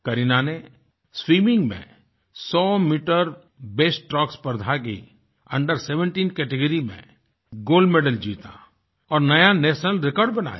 करीना ने स्विमिंग में 100 metre breaststroke स्पर्धा की Under17 कैटेगरी में गोल्ड मेडल जीता और नया नेशनल रिकॉर्ड बनाया